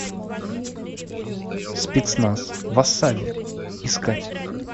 спецназ в осаде искать